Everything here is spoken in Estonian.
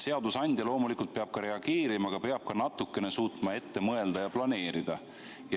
Seadusandja loomulikult peab ka reageerima, aga peab ka natukene suutma ette mõelda ja planeerida.